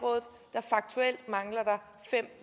der mangler fem